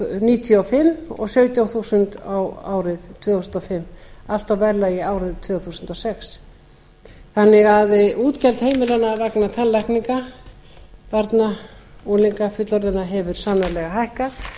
níutíu og fimm og sautján þúsund á árið tvö þúsund og fimm allt á verðlagi ársins tvö þúsund og sex útgjöld heimilanna vegna tannlækninga barna unglinga fullorðinna hafa því sannarlega hækkað